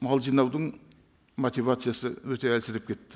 мал жинаудың мотивациясы өте әлсіреп кетті